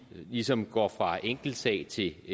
ligesom går fra en enkeltsag til